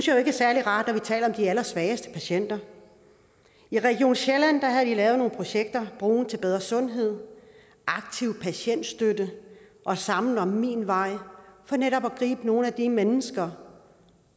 jo ikke er særlig rart når vi taler om de allersvageste patienter i region sjælland havde de lavet nogle projekter broen til bedre sundhed aktiv patientstøtte og sammen om min vej for netop at gribe nogle af de mennesker